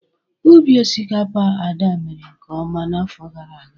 Ubi osikapa Ada mere nke ọma n'afọ gara aga.